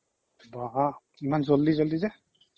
বাহ, ইমান জল্দি জল্দি যে